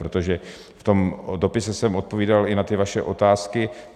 Protože v tom dopise jsem odpovídal i na ty vaše otázky.